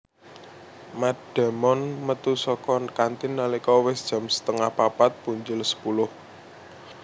Matt Damon metu saka kantin nalika wis jam setengah papat punjul sepuluh